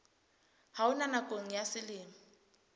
ha ona nakong ya selemo